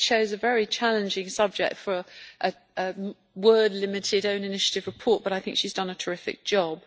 She chose a very challenging subject for a word limited own initiative report but I think she has done a terrific job.